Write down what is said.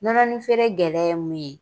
Nɔnɔnin feere gɛlɛya ye mun ye.